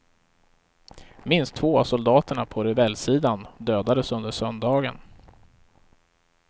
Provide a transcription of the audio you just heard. Minst två av soldaterna på rebellsidan dödades under söndagen.